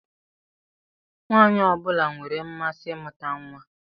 Nwaanyị ọ bụla nwere mmasị imuta nwa.